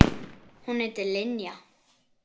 Hún heitir Linja.